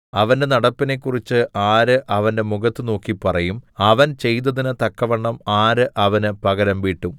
അവന്റെ നടപ്പിനെക്കുറിച്ച് ആര് അവന്റെ മുഖത്തു നോക്കി പറയും അവൻ ചെയ്തതിന് തക്കവണ്ണം ആര് അവന് പകരംവീട്ടും